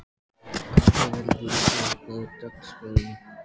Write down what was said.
Hvað verður svo á dagskránni?